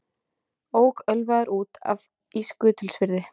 Ók ölvaður út af í Skutulsfirði